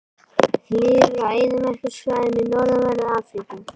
Lifir á eyðimerkursvæðum í norðanverðri Afríku.